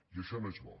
i això no és bo